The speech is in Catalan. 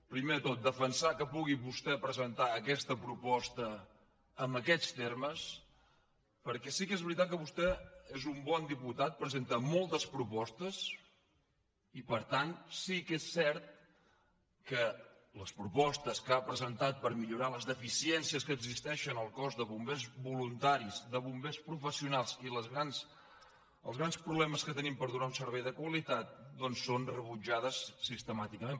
primer de tot defensar que pugui vostè presentar aquesta proposta en aquests termes perquè sí que és veritat que vostè és un bon diputat presenta moltes propostes i per tant sí que és cert que les propostes que ha presentat per millorar les deficiències que existeixen al cos de bombers voluntaris de bombers professionals i els grans problemes que tenim per donar un servei de qualitat són rebutjades sistemàticament